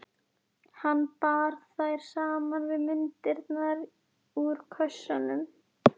Hann bar þær saman við myndirnar úr kössunum.